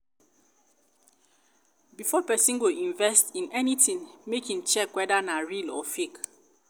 before persin go invest in anything make im check whether na real or fake